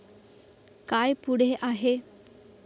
काय पुढे आहे?